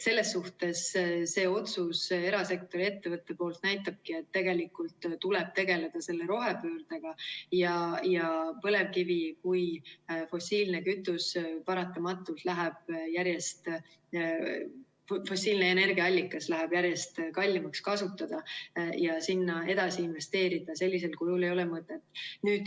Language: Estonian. Selles suhtes see erasektori ettevõtte otsus näitabki, et tegelikult tuleb tegeleda rohepöördega ja põlevkivi kui fossiilne energiaallikas paratamatult läheb järjest kallimaks kasutada ja sinna edasi investeerida sellisel kujul ei ole mõtet.